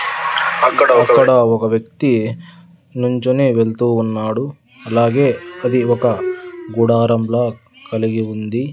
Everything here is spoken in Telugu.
అక్కడ ఒక వ్యక్తి నించుని వెళ్తూ ఉన్నాడు అలాగే అది ఒక గుడారంలా కలిగి ఉంది.